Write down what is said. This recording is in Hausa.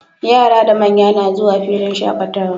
Yara da manya na zuwa filin shaqatawa